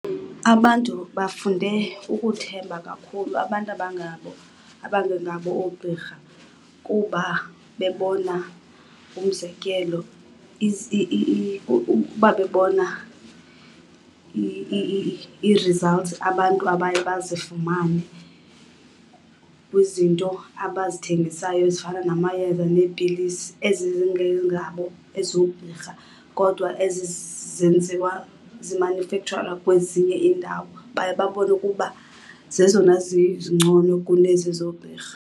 Abantu bafunde ukuthemba kakhulu abantu abangabo abangengabo oogqirha kuba bebona, umzekelo, kuba benona ii-results abantu abaye bazifumane kwizinto abazithengisayo ezifana namayeza neepilisi. Ezi zingengabo ezoogqirha kodwa ezi zenziwa zimanyufekhtsharwa kwezinye iindawo. Baye babone ukuba zezona zingcono kunezi zoogqirha.